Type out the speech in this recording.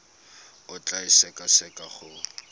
o tla e sekaseka go